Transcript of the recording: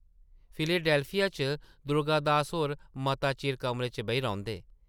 Philadelphia च दुर्गा दास होर मता चिर कमरे च बेही रौंह्दे ।